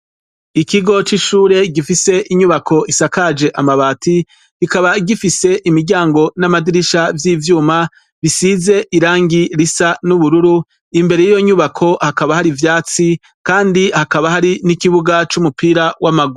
Ikigo c'ishure gifise inyubako isakaje amabati bikaba bifise imiryango n'amadirisha vy'ivyuma bisize irangi risa n'ubururu imbere yiyonyubako hakaba hari ivyatsi kandi hakaba hari n'ikibuga c'umupira w'amaguru.